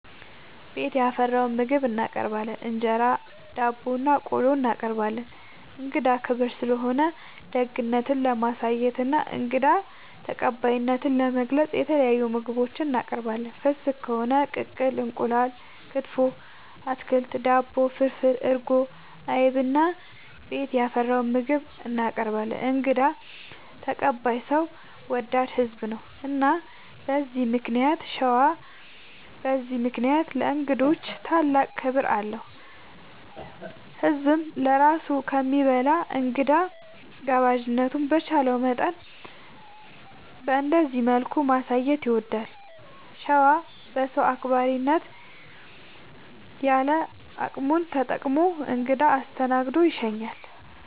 ቤት ያፈራውን ምግብ እናቀርባለን እንጀራ፣ ዳቦናቆሎ እናቀርባለን። እንግዳ ክብር ስለሆነ ደግነት ለማሳየትና እንግዳ ተቀባይነትን ለመግለፅ የተለያዩ ምግቦች እናቀርባለን። ፍስግ ከሆነ ቅቅል እንቁላል፣ ክትፎ፣ አትክልት፣ ዳቦ፣ ፍርፍር፣ እርጎ፣ አይብ እና ቤት ያፈራውን ምግብ እናቀርባለን እንግዳ ተቀባይ ሰው ወዳድ ህዝብ ነው። እና በዚህ ምክንያት ሸዋ በዚህ ምክንያት ለእንግዶች ታላቅ ክብር አለው። ህዝብም ለራሱ ከሚበላ እንግዳ ጋባዥነቱን በቻለው መጠን በእንደዚህ መልኩ ማሳየት ይወዳል። ሸዋ በሰው አክባሪነት ያለ አቅሙን ተጠቅሞ እንግዳ አስደስቶ ይሸኛል።